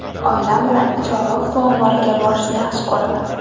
Oilam bilan Chorvoq suv omboriga borishni yaxshi ko‘raman.